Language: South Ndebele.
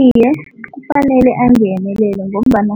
Iye, kufanele angenelele ngombana